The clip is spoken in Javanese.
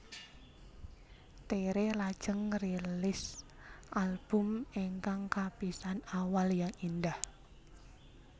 Tere lajeng ngliris album ingkang kapisan Awal yang Indah